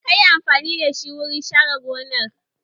Me ka yi amfani da wurin share gonar?